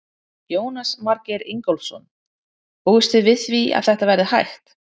Jónas Margeir Ingólfsson: Búist þið við því að þetta verði hægt?